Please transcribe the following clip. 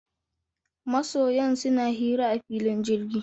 Masoyan suna hira a filin jirgi.